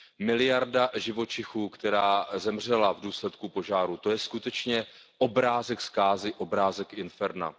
Miliarda živočichů, která zemřela v důsledku požárů, to je skutečně obrázek zkázy, obrázek inferna.